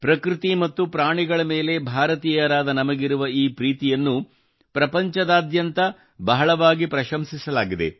ಪ್ರಕೃತಿ ಮತ್ತು ಪ್ರಾಣಿಗಳ ಮೇಲೆ ಭಾರತೀಯರಾದ ನಮಗಿರುವ ಈ ಪ್ರೀತಿಯನ್ನು ಪ್ರಪಂಚದಾದ್ಯಂತ ಬಹಳವಾಗಿ ಪ್ರಶಂಸಿಸಲಾಗಿದೆ